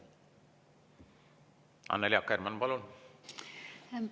Annely Akkermann, palun!